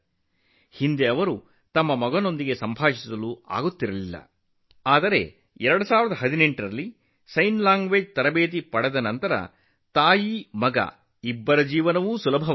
ಈ ಮೊದಲು ಅವರಿಗೆ ತನ್ನ ಮಗನೊಂದಿಗೆ ಸಂವಹನ ನಡೆಸಲು ಸಾಧ್ಯವಾಗುತ್ತಿರಲಿಲ್ಲ ಆದರೆ 2018 ರಲ್ಲಿ ಸಂಜ್ಞೆ ಭಾಷೆ ತರಬೇತಿಯನ್ನು ಪಡೆದ ನಂತರ ತಾಯಿ ಮತ್ತು ಮಗನ ಜೀವನವು ಸುಲಭವಾಗಿದೆ